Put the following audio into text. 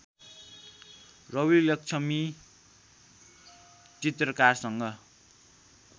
Ravi Laxmi चित्रकारसँग